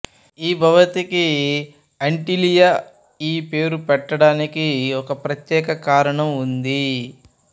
ఈ భవంతికి ఆంటిలియా ఈ పేరు పెట్టడానికి ఒక ప్రత్యేక కారణం ఉంది